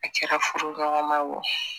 A kɛra furuɲɔgɔnma wo